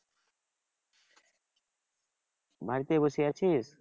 বাড়িতে বসে আছিস?